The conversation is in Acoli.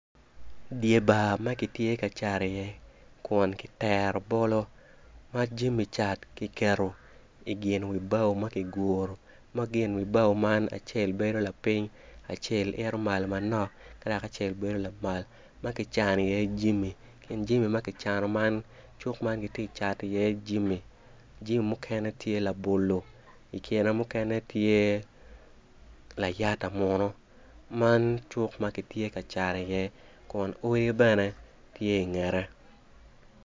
Dye bar ma kitye ka cat iye kin kitero bolo ma jami cat kiketo i gin wi bao ma kiguru ma gin wi bao man acel bedo laping acel ito malo manok ka dok acel bedo lamal ma kicano iye jami i kin jami ma kicano man cuk man kitye Cato iye jami. Jami mukene tye iye labolo ikine mukene tye layata munu man cuk ma kitye ka cat iye kin odi bene tye ingette.